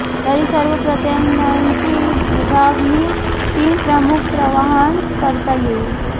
तरीही सर्व प्रयत्नांची विभागणी तीन प्रमुख प्रवाहांत करता येईल